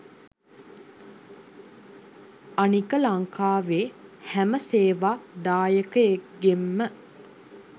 අනික ලංකාවෙ හැම ‍සේවා දායකයෙක්ගෙම